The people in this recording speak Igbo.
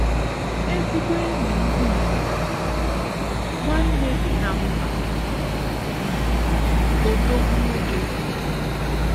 ezigbo enyi ndigbo! nwanne dinamba! um odogwu nwoke!!!